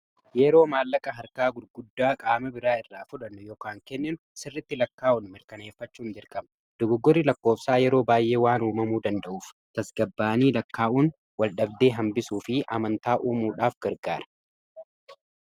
yeroo maallaqa harkaa gurguddaa qaama biraa irraa fudhannuu ykn kenneenu sirritti lakkaa'uun mirkaneeffachuun dirqama dugoogori lakkoofsaa yeroo baay'ee waan uumamuu danda'uuf tasgabbaanii lakkaa'uun waldhabdee hambisuu fi amantaa uumuudhaaf gargaara